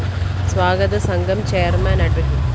സ്വാഗത സംഘം ചെയർമാൻ അഡ്വ